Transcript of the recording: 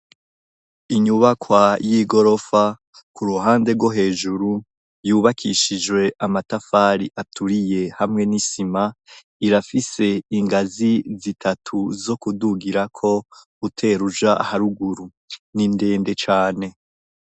inyubakwa y'igorofa ku ruhande rwo hejuru yubakishijwe amatafari aturiye hamwe n'isima irafise ingazi zitatu zo kudugirako uteruja haruguru n'indende cane